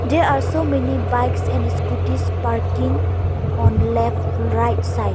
There are so many bikes and scooties parking on left right side.